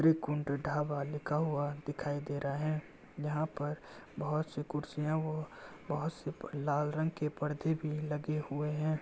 त्रिकुंड ढाबा लिखा हुआ दिखायी दे रहा है जहाँ पर बहुत सी कुर्सियाँ वो बहुत से पर लाल रंग के पर्दे भी लगे हुए हैं।